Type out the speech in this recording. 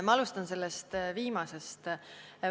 Ma alustan viimasest.